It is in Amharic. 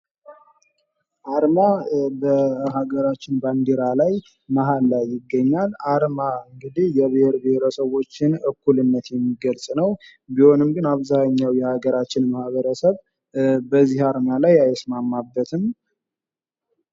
አርማ በሀገራችን ባንዲራ ላይ መሐል ላይ ይገኛል ።አርማ እንግዲህ የብሄር ብሄረሰቦችን እኩልነት የሚገልጽ ነው ። ቢሆንም ግን አብዛኛው የሃገራችን ማህበረሰብ በዚህ አርማ ላይ አይስማማበትም ።